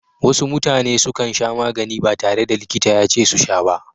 Wasu mutane sukan sha magani ba tare da likita yace su sha ba.